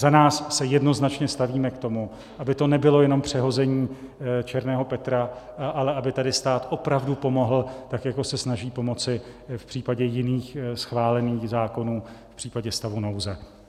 Za nás se jednoznačně stavíme k tomu, aby to nebylo jenom přehození černého Petra, ale aby tady stát opravdu pomohl, tak jako se snaží pomoci v případě jiných schválených zákonů v případě stavu nouze.